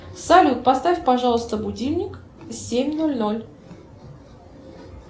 салют поставь пожалуйста будильник семь ноль ноль